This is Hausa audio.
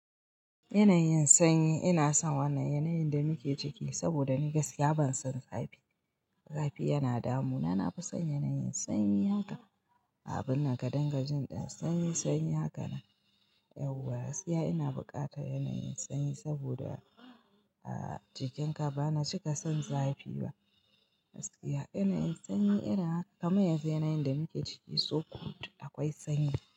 Yanayin sanyi, ina san wannan yanayin da muke ciki saboda ni gaskiya ban son zafi. Zafi yana damu. Na fi son yanayin sanyi haka abun nan gadon gajin ɗin. Sanyi sanyi haka nan. Yau gaskiya ina bukata yanayin sanyi saboda jikin ka ba na cika son zafi ba. Gaskiya yanayin sanyi ina haka kamar yanzu yanayin da muke ciki so good akwai sanyi.